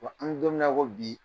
Wa an bɛ don min na ko bi